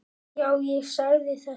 Já, ég sagði þetta.